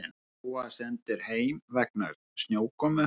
Parísarbúar sendir heim vegna snjókomu